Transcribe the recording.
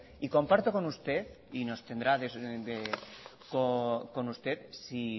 y comparto con usted y nos tendrá con usted si